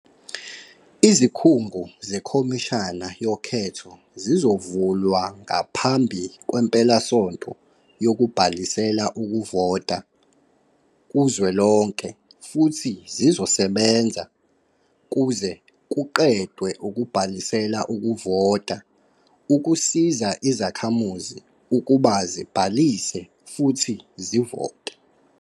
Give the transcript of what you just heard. Izikhungo zeKhomishana yoKhetho zizovulwa ngaphambi kwempelasonto yokubhalisela ukuvota kuzwelonke futhi zizosebenza kuze kuqedwe ukubhalisela ukuvota ukusiza izakhamuzi ukuba zibhalise futhi zivote.